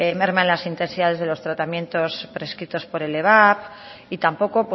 merma en las intensidades de los tratamientos prescritos por el y tampoco